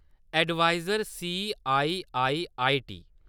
Adviser CIIIT.